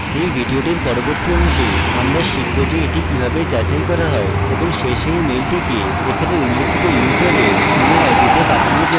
in ভিডিওটির পরবর্তী অংশে আমরা শিখব যে এটি কিভাবে যাচাই করা যায় এবং শেষে in মেলটিকে এখানে উল্লিখিত ইউসারের email id তে পাঠানো যায়